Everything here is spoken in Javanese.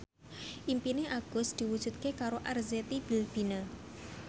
impine Agus diwujudke karo Arzetti Bilbina